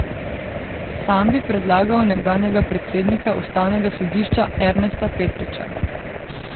Sam bi predlagal nekdanjega predsednika ustavnega sodišča Ernesta Petriča.